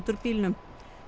úr bílnum